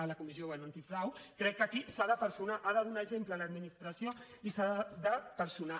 a la comissió bé antifrau crec que aquí s’ha de personar ha de donar exemple l’administració i s’ha de personar